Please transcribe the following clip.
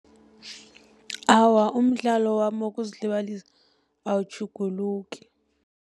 Awa, umdlalo wami wokuzilibalisa awutjhuguluki.